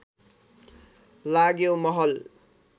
लाग्यो महल